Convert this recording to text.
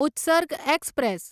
Utsarg express